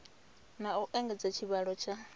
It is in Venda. na u engedza tshivhalo tsha